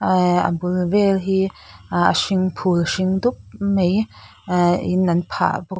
ahh a bul vel hi a hring phul hring dup mai ahh in an phah bawk.